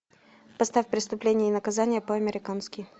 поставь преступление и наказание по американски